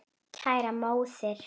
Kæra móðir.